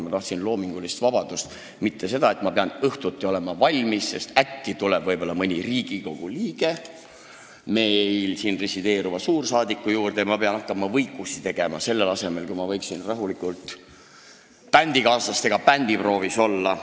Ma tahtsin loomingulist vabadust, mitte seda, et ma pean õhtuti valmis olema – äkki läheb mõni Riigikogu liige siin resideeriva suursaadiku juurde ja ma pean hakkama võikusid tegema, selle asemel et rahulikult bändikaaslastega proovis olla.